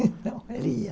Então, ele ia.